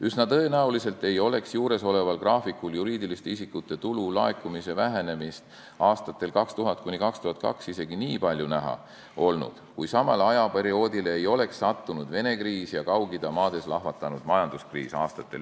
Üsna tõenäoliselt ei oleks juuresoleval graafikul juriidiliste isikute tulu laekumise vähenemist aastatel 2000–2002 isegi nii palju näha olnud, kui samal perioodil ei oleks olnud Vene kriisi ja Kaug-Ida maades ei oleks lahvatanud majanduskriis.